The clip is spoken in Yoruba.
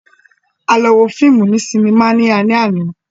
A lọ wo fíìmù ni sinimá lálẹ́ àná